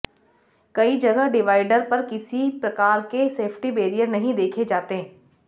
कई जगह डिवाइडर पर किसी प्रकार के सेफ्टी बैरियर नहीं देखे जाते